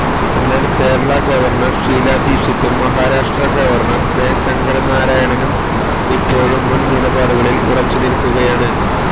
എന്നാല് കേരളാ ഗവര്ണ്ണര് ഷീലാ ദീക്ഷിതും Maharashtra governor K ശങ്കരനാരായണനും ഇപ്പോഴും മുന് നിലപടുകളില് ഉറച്ചു നില്ക്കുകയാണ്